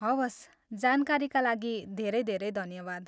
हवस्, जानकारीका लागि धेरै धेरै धन्यवाद।